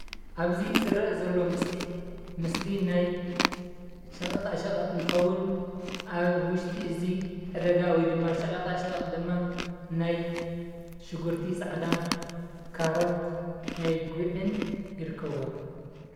ኣብዝ ዝርእ ዘሎ ምስሊ ምስሊ ናይ ሸቐጣ ሸቐጥ እንትኸዉን ኣብ ዉሽጢ እዚ ዕዳጋ ወይ ድማ ሸቀጣ ሸቀጥ ደማ ናይ ሽጉርቲ ፃዕዳ፣ ካሮት ፣ናይ ጉዕን ይርከብዎሞ፡፡